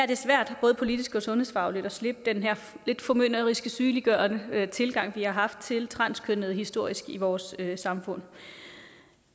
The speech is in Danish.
det svært både politisk og sundhedsfagligt at slippe den her lidt formynderiske sygeliggørende tilgang vi har haft til transkønnede historisk i vores samfund